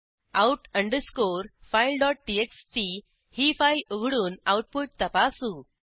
out underscore file TXT ही file उघडून output तपासू